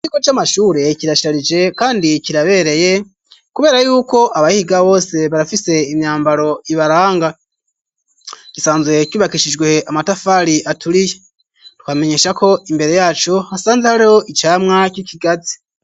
Ikigo c'amashure kirasharije kandi kirabereye kubera yuko abahiga bose barafise imyambaro ibaranga. Gisanzwe cubakishijwe amatafari aturiye. Twobamenyesha ko imbere yaco, hasanzwe hariho icamwa c'ikigazi.